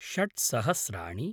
षड् सहस्राणि